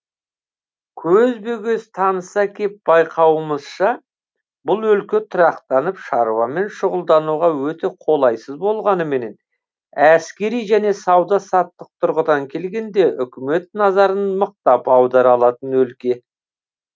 көзбе көз таныса кеп байқауымызша бұл өлке тұрақтанып шаруамен шұғылдануға өте қолайсыз болғаныменен әскери және сауда саттық тұрғыдан келгенде үкімет назарын мықтап аудара алатын өлке